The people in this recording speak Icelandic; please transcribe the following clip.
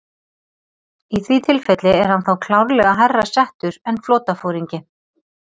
Í því tilfelli er hann þá klárlega hærra settur en flotaforingi.